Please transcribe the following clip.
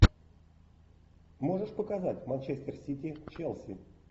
можешь показать манчестер сити челси